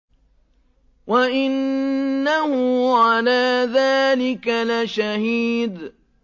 وَإِنَّهُ عَلَىٰ ذَٰلِكَ لَشَهِيدٌ